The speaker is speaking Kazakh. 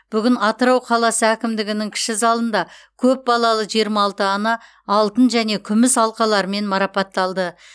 бүгін атырау қаласы әкімдігінің кіші залында көп балалы жиырма алты ана алтын және күміс алқаларымен марапатталды